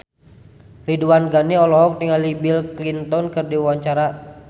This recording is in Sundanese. Ridwan Ghani olohok ningali Bill Clinton keur diwawancara